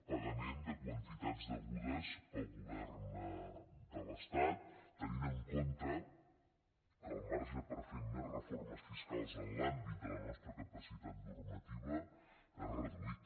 pagament de quantitats degudes pel govern de l’estat tenint en compte que el marge per fer més reformes fiscals en l’àmbit de la nostra capacitat normativa és reduït